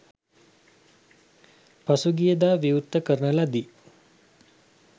පසුගිය දා විවෘත කරන ලදී.